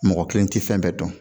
Mɔgɔ kelen tɛ fɛn bɛɛ dɔn